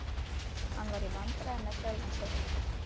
Hann var í vandræðum með sjálfan sig.